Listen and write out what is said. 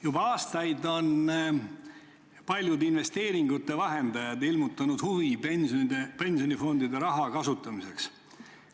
Juba aastaid on paljud investeeringute vahendajad ilmutanud huvi pensionifondide raha kasutamise vastu.